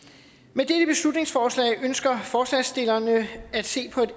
med dette beslutningsforslag ønsker forslagsstillerne at se på et